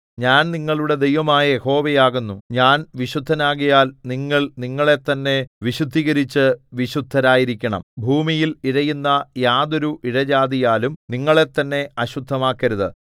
ഞാൻ നിങ്ങളുടെ ദൈവമായ യഹോവ ആകുന്നു ഞാൻ വിശുദ്ധനാകയാൽ നിങ്ങൾ നിങ്ങളെത്തന്നെ വിശുദ്ധീകരിച്ച് വിശുദ്ധരായിരിക്കണം ഭൂമിയിൽ ഇഴയുന്ന യാതൊരു ഇഴജാതിയാലും നിങ്ങളെത്തന്നെ അശുദ്ധമാക്കരുത്